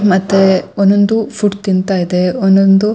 ಮತ್ತೆ ಒಂದೊಂದು ಫುಡ್ ತಿಂತ ಇದೆ ಒಂದೊಂದು --